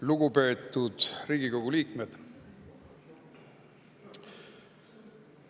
Lugupeetud Riigikogu liikmed!